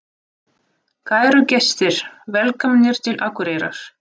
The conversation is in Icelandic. Kæru gestir! Velkomnir til Akureyrar.